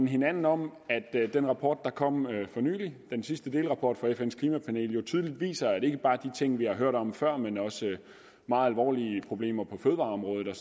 hinanden om at den rapport der kom for nylig den sidste delrapport fra fns klimapanel jo tydeligt viser at ikke bare de ting vi har hørt om før men også meget alvorlige problemer på fødevareområdet og